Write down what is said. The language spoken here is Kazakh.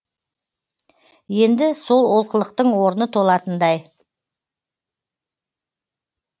енді сол олқылықтың орны толатындай